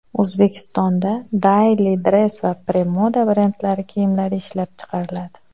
O‘zbekistonda Dailydress va Premoda brendlari kiyimlari ishlab chiqariladi.